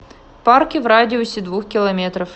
парки в радиусе двух километров